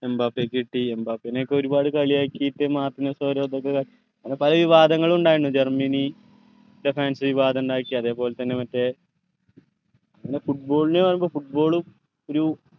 എംബാപ്പക്ക് കിട്ടി എംബാപ്പനെഒക്കെ ഒരുപാട് കളിയാക്കീട്ട് ഓരോ ഇതൊക്കെ കാട്ടി അങ്ങനെ പലവിവാദങ്ങളു ഇണ്ടായിന് ജർമ്മനി fans വിവാദം ഇണ്ടാക്കി അതേപോലെ തന്നെ മറ്റേ നമ്മടെ football നെയോ football ഉം ഒരു